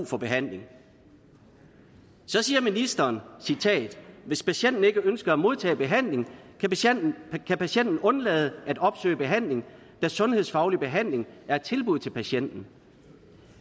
for behandling så siger ministeren citat hvis patienten ikke ønsker at modtage behandling kan patienten undlade at opsøge behandling da sundhedsfaglig behandling er et tilbud til patienten